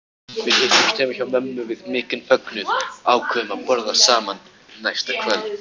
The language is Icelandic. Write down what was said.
Við hittumst heima hjá mömmu við mikinn fögnuð og ákváðum að borða saman næsta kvöld.